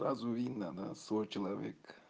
сразу видно на свой человек